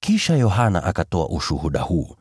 Kisha Yohana akatoa ushuhuda huu: